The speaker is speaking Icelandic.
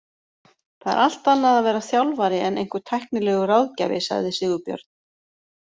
Það er allt annað að vera þjálfari en einhver tæknilegur ráðgjafi, sagði Sigurbjörn.